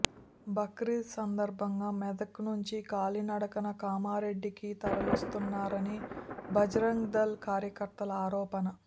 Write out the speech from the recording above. బక్రీద్ సందర్భంగా మెదక్ నుంచి కాలినడకన కామారెడ్డి కి తరలిస్తున్నారని భజరంగ్ దళ్ కార్యకర్తల ఆరోపణ